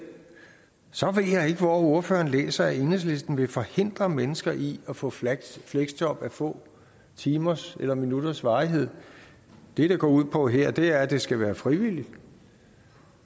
så hvor ordføreren har læst at enhedslisten vil forhindre mennesker i at få fleksjob a få timers eller minutters varighed det det går ud på her er at det skal være frivilligt